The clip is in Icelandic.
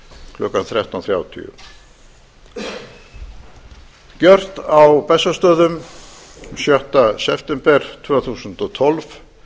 klukkan þrettán þrjátíu gjört á bessastöðum sjötta september tvö þúsund og tólf